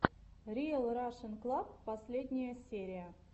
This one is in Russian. риэл рашен клаб последняя серия